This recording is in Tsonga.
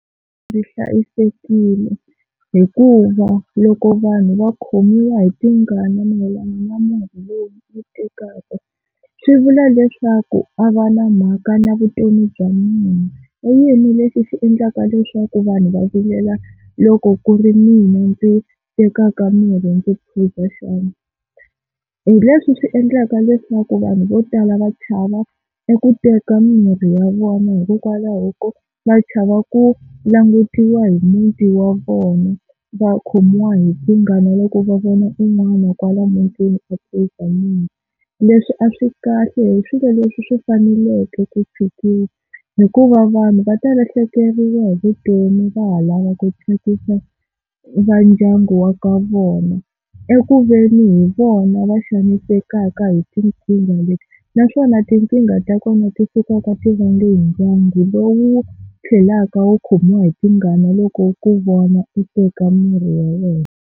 Ndzi hlayisekile hikuva loko vanhu va khomiwa hi tingana mayelana na munhu loyi ni yi tekaka swi vula leswaku a va na mhaka na vutomi bya munhu, i yini lexi xi endlaka leswaku vanhu va vilela loko ku ri mina ndzi tekaka mirhi ndzi phuza xana. Hi leswi swi endlaka leswaku vanhu vo tala va chava eku teka mimirhi ya vona hikokwalaho ko va chava ku langutiwa hi muti wa vona va khomiwa hi tingana loko va vona un'wana kwala mutini a phuza mirhi. Leswi a swi kahle hi swilo leswi swi faneleke ku tshikiwa hikuva vanhu va ta lahlekeriwa hi vutomi va ha lava ku tsakisa va ndyangu wa ka vona eku veni hi vona va xanisekaka hi tinkingha leti, naswona tinkingha ta kona ti sukaka ti vange hi ndyangu lowu tlhelaka wu khomiwa hi tingana loko u ku vona u teka mirhi ya wena.